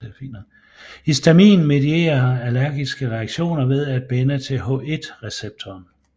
Histamin medierer allergiske reaktioner ved at binde til H1 receptoren